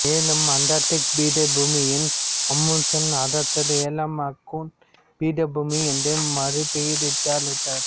மேலும் அண்டார்டிக் பீடபூமியையும் அமுன்சென் அரசர் ஏழாம் ஆக்கூன் பீடபூமி என்று மறுபெயரிட்டு அழைத்தார்